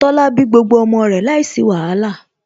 Tola bí gbogbo ọmọ rẹ̀ láìsí wàhálà